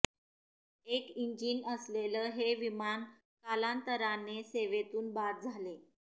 एक इंजिन असलेलं हे विमान कालांतराने सेवेतून बाद झाले